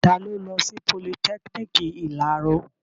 Ta ló lọ sí politẹ́kiniki ìláro?